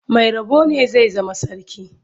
Mai rabo ne zai zama sarki.